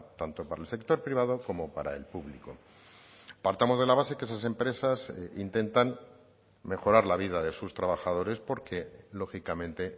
tanto para el sector privado como para el público partamos de la base que esas empresas intentan mejorar la vida de sus trabajadores porque lógicamente